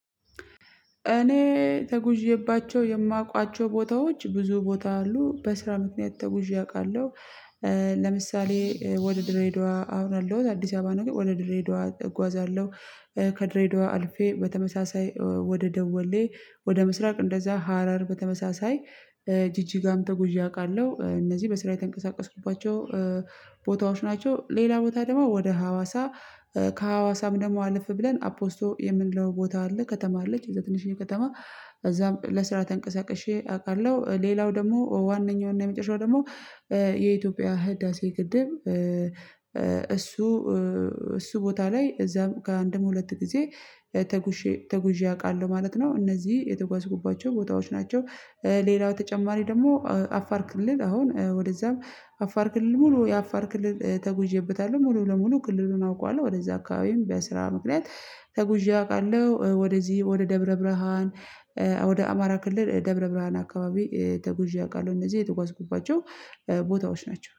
እኔ ተጉዤባቸው የማውቃቸው ቦታዎች ብዙ ቦታ አሉ በስራ ምክንያት ተጉዤ አውቃለሁ። ለምሳሌ ወደ ድሬዳዋ አሁን ያለሁት አዲስ አበባ ነው። ግን ወደ ድሬዳዋ እጓዛለሁ። ከድሬዳዋ አልፌ በተመሳሳይ ወደ ደወሌ ወደ ምስራቅ እንደዛ ሀረር በተመሳሳይ ጂጂጋ ም ተጉዠ አውቃለሁ። እነዚህ በስራ የተንቀሳቀስኩባቸው ቦታዎች ናቸው። ሌላ ቦታ ደግሞ ወደ ሀዋሳ ከሀዋሳም ደግሞ አለፍ ብለን አፖስቶ የምንለው ቦታ አለ ከተማ አለች የዛ ትንሽዬ ከተማ እዛም ለስራ ተንቀሳቅሼ አውቃለሁ። ሌላው ደግሞ ዋነኛው እና የመጨረሻው ደግሞ የኢትዮጵያ ህዳሴ ግድብ እሱ እሱ ቦታ ላይ እዛ ከአንድም ሁለት ጊዜ ተጉዤ ተጉዤ አውቃለሁ። ማለት ነው እነዚህ የተጓዝኩባቸው ቦታዎች ናቸው። ሌላው ተጨማሪ ደግሞ አፋር ክልል አሁን ወደዛም አፋር ክልል ሙሉ የአፋር ክልል ተጉዤበታለሁ ሙሉ ለሙሉ ክልሉን አውቀዋለሁ። ወደዛ አካባቢም በስራ ምክንያት ተጉዠ አውቃለሁ። ወደዚህ ወደ ደብረ ብርሃን ወደ አማራ ክልል ደብረ ብርሃን አካባቢ ተጉዠ አውቃለሁ። እነዚህ የተጓዝኩባቸው ቦታዎች ናቸው